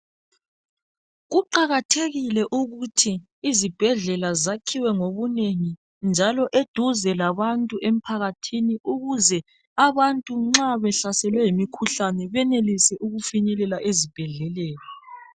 Kuqakathekile ukuthi izibhedlela zakhiwe ngobunengi, njalo dude labantu emphakathini. Ukuze abantu nxa behlaselwe yimikhuhlane benelise ukufinyelela ezibhedleleni.